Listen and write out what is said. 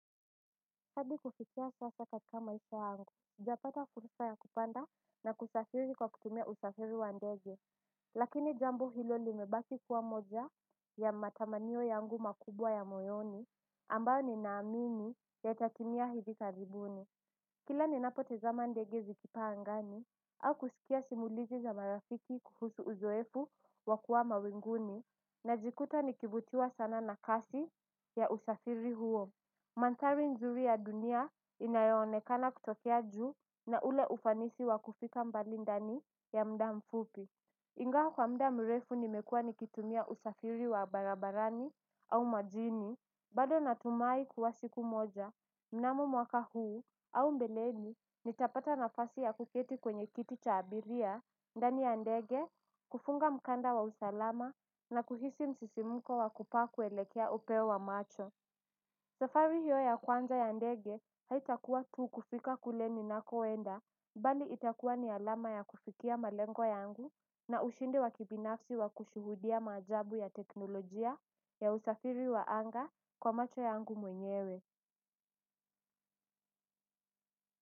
Hadi kufikia sasa katika maisha yangu, sijapata fulsa ya kupanda na kusafiri kwa kutumia usafiri wa ndege. Lakini jambo hilo limebaki kuwa moja ya matamanio yangu makubwa ya moyoni ambayo ninaamini yatatimia hivi karibuni. Kila ninapotizama ndege zikipaa angani au kusikia simulizi za marafiki kuhusu uzoefu wa kuwa mawinguni najikuta nikivutiwa sana na kasi ya usafiri huo. Mandhari nzuri ya dunia inayoonekana kutokea juu na ule ufanisi wa kufika mbali ndani ya muda mfupi ingawa kwa muda mrefu nimekua nikitumia usafiri wa barabarani au majini, bado natumai kuwa siku moja, mnamo mwaka huu au mbeleni nitapata nafasi ya kuketi kwenye kiti cha abiria ndani ya ndege, kufunga mkanda wa usalama na kuhisi msisimuko wa kupaa kuelekea upeo wa macho. Safari hiyo ya kwanza ya ndege haitakuwa tu kufika kule ninakoenda mbali itakuwa ni alama ya kufikia malengo yangu na ushindi wa kibinafsi wa kushuhudia maajabu ya teknolojia ya usafiri wa anga kwa macho yangu mwenyewe.